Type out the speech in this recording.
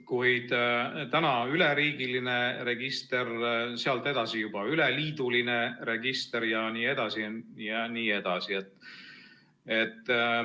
Kuid kas teha täna üleriigiline register, sealt edasi juba üleliiduline register jne?